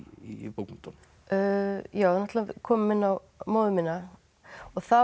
í bókmenntunum við náttúrulega komum inn á móður mína og það